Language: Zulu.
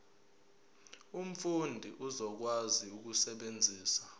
umfundi uzokwazi ukusebenzisa